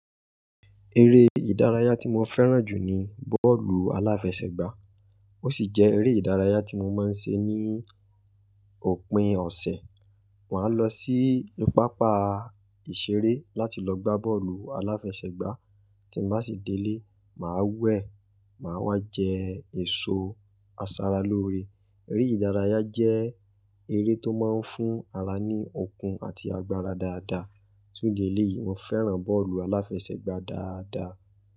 Eré ìdárayá tí mo fẹ́ràn jù ní bọ́ọ̀lù aláfẹsẹ̀gbá, ó ṣì jẹ́ eré ìdárayá tí mo máa ń ṣe ní òpin ọ̀sẹ̀. Màá lọ sí pápá ìṣeré láti lọ gbá bọ́ọ̀lù aláfẹsẹ̀gbá, tí n bá ṣì délé, màá wẹ̀, màá wá jẹ èso aṣaralóore. Eré ìdárayá jẹ́ eré tó máa ń fún ara ní okun àti agbára dáadáa. Fùn ìdí eleyìí, mo fẹ́ràn bọ́ọ̀lù aláfẹsẹ̀gbá dáadáa.